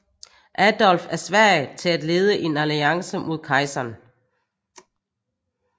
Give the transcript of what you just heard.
Adolf af Sverige til at lede en alliance mod kejseren